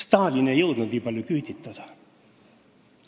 Stalin ei jõudnud nii palju küüditada.